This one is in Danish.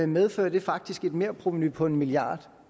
medfører det faktisk et merprovenu på en milliard